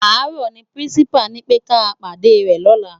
Àárò ni pirinsipá ni pé ká pádè rè lòlá